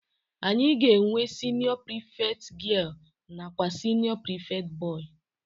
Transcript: Anyị ga-enwe siniọ prịfekt gịel nakwa siniọ prịfekt bọị